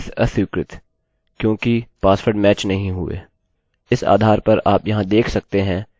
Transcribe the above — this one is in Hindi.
इस आधार पर आप यहाँ देख सकते हैं कि मैंने वेरिएबल को मिलाया है